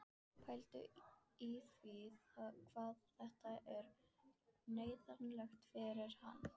Pældu í því hvað þetta er neyðarlegt fyrir hann!